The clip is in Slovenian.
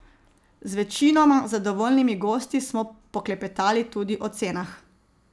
Z večinoma zadovoljnimi gosti smo poklepetali tudi o cenah.